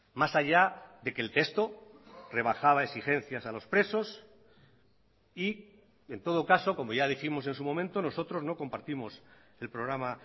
más allá de que el texto rebajaba exigencias a los presos y en todo caso como ya dijimos en su momento nosotros no compartimos el programa